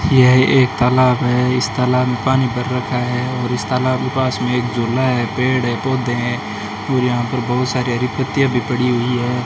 यह एक तालाब है इस तालाब में पानी भर रखा है और इस तालाब के पास में एक झुला है पेड़ है पौधे हैं और यहां पर बहुत सारी हरी पत्तियां भी पड़ी हुई हैं।